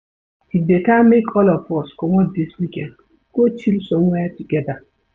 E beta make all of us comot dis weekend go chill somewhere togeda.